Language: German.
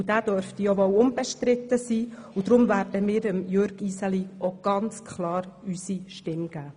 Und dieser dürfte ja wohl auch unbestritten sein, deshalb werden wir Jürg Iseli ganz klar unsere Stimme geben.